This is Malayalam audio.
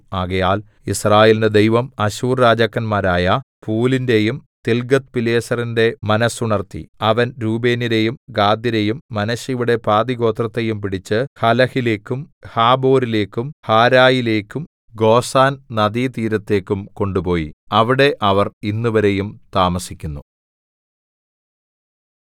ആകയാൽ യിസ്രായേലിന്റെ ദൈവം അശ്ശൂർരാജാക്കന്മാരായ പൂലിന്റെയും തിൽഗത്ത്പിലേസറിന്‍റെ മനസ്സുണർത്തി അവൻ രൂബേന്യരെയും ഗാദ്യരെയും മനശ്ശെയുടെ പാതിഗോത്രത്തെയും പിടിച്ച് ഹലഹിലേക്കും ഹാബോരിലേക്കും ഹാരയിലേക്കും ഗോസാൻ നദീതീരത്തേയ്ക്കും കൊണ്ടുപോയി അവിടെ അവർ ഇന്നുവരെയും താമസിക്കുന്നു